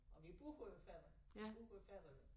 Og vi bruger jo færgen vi bruger færgen